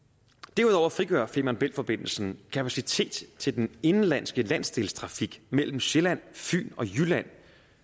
derudover frigør femern bælt forbindelsen kapacitet til den indenlandske landsdelstrafik mellem sjælland fyn og jylland